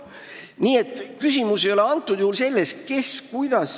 Nii et küsimus ei ole praegusel juhul selles, kes ja kuidas.